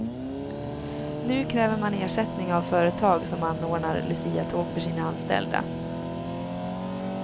Nu kräver man ersättning av företag som anordnar luciatåg för sina anställda.